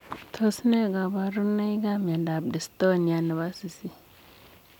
Tos nee kabarinoik ap miondop distonia nepo sisiit?